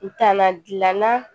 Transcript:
N kana dilanna